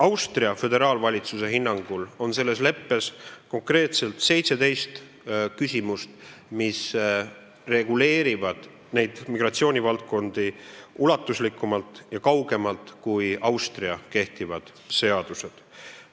Austria föderaalvalitsuse hinnangul on selles leppes konkreetselt 17 küsimust, mis reguleerivad neid migratsioonivaldkondi ulatuslikumalt ja kaugemale minevalt kui Austria kehtivad seadused.